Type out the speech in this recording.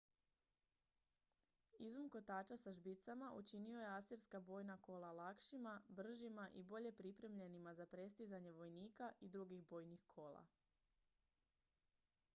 izum kotača sa žbicama učinio je asirska bojna kola lakšima bržima i bolje pripremljenima za prestizanje vojnika i drugih bojnih kola